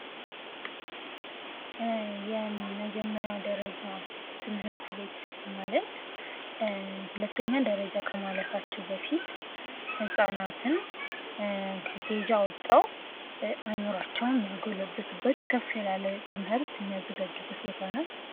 የመጀመሪያ ደረጃ ትምህርት ቤት ማለት ሁለተኛ ደረጃ ከማለፋቸው በፊት ህጻናትን ከኬጂ አወጠው አይምሮአቸውን የሚያጎሉበት ከፍላለህ ትምህርት የሚያዘጋጁበት ቦታ ነው።